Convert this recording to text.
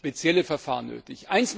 sind spezielle Verfahren nötig.